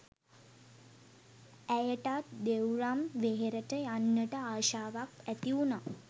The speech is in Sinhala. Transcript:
ඇයටත් දෙව්රම් වෙහෙරට යන්නට ආශාවක් ඇතිවුනා